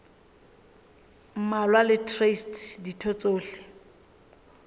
mmalwa le traste ditho tsohle